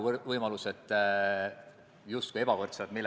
Me ei tee neid asju ju ainult ettevõtjate jaoks.